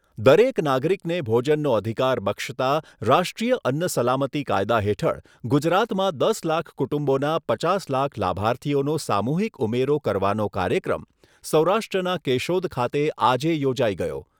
દરેક નાગરીકને ભોજનનો અધિકાર બક્ષતા રાષ્ટ્રીય અન્ન સલામતી કાયદા હેઠળ ગુજરાતમાં દસ લાખ કુટુંબોના પચાસ લાખ લાભાર્થીઓનો સામૂહિક ઉમેરો કરવાનો કાર્યક્રમ સૌરાષ્ટ્રના કેશોદ ખાતે આજે યોજાઈ ગયો